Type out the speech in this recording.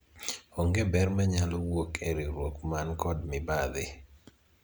onge ber manyalo wuok e riwruok man kod mibadhi